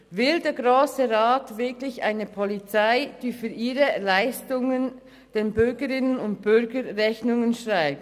Will der Grosse Rat wirklich eine Polizei, die für ihre Leistungen den Bürgerinnen und Bürgern Rechnungen schreibt?